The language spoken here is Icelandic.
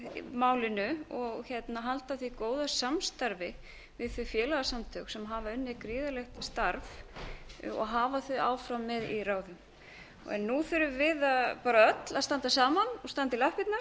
málinu og halda áfram því góða samstarfi við þau félagasamtök sem hafa unnið gríðarlegt starf það er brýnt að hafa þau áfram með í ráðum nú þurfum við öll að standa saman og standa í